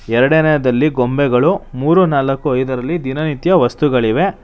ಎರಡನೆಯದಲ್ಲಿ ಗೊಂಬೆಗಳು ಮೂರು ನಾಲಕ್ಕು ಐದರಲ್ಲಿ ದಿನನಿತ್ಯ ವಸ್ತುಗಳಿವೆ.